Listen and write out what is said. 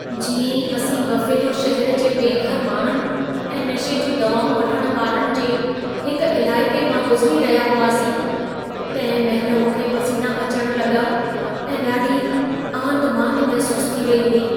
जीअं ई असीं बफ़ेलो शहर जे बेघर माण्हुनि ऐं नशे जूं दवाउं वठण वारनि जे हिकु इलाइक़े मां गुज़िरी रहिया हुआसीं, तंहिं महिल मूंखे पसीना अचण लॻा ऐं ॾाढी आंधिमांधि महिसूसु थी रही हुई।